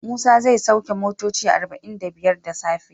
Musa zai sauke motoci arba'in da biyar da safe.